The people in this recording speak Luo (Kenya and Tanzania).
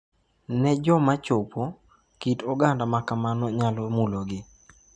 Ne joma chopo, kit oganda ma kamago nyalo mulogi.